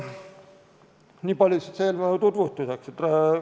Niipalju eelnõu tutvustuseks.